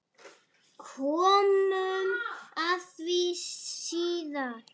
Komum að því síðar.